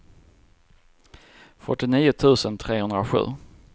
fyrtionio tusen trehundrasju